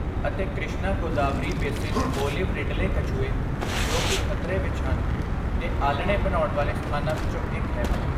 ਅਤੇ Krishna Godavari basin olive ridley ਕੱਛੂਏ, ਜੋ ਕੀ ਖਤਰੇ ਵਿੱਚ ਹਨ, ਦੇ ਆਲ੍ਹਣੇ ਬਣਾਉਣ ਵਾਲੇ ਸਥਾਨਾਂ ਵਿੱਚੋਂ ਇੱਕ ਹੈ